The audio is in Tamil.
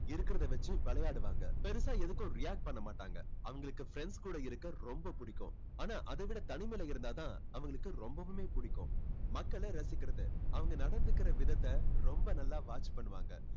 இருக்கிறதை வச்சு விளையாடுவாங்க. பெருசா எதுக்கும் react பண்ண மாட்டாங்க. அவங்களுக்கு friends கூட இருக்க ரொம்ப பிடிக்கும். ஆனா அதைவிட தனிமையில இருந்தா தான் அவங்களுக்கு ரொம்பவுமே பிடிக்கும். மக்களை ரசிக்கிறது அவங்க நடந்துக்கிற விதத்தை ரொம்ப நல்லா watch பண்ணுவாங்க.